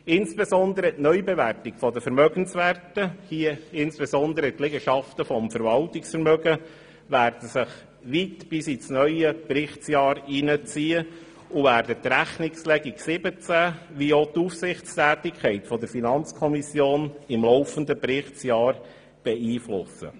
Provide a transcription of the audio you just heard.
Vor allem die Neubewertung der Vermögenswerte – hier insbesondere der Liegenschaften im Verwaltungsvermögen – wird sich bis weit ins neue Berichtsjahr hineinziehen und die Rechnungslegung 2017 wie auch die Aufsichtstätigkeit der FiKo im laufenden Berichtsjahr beeinflussen.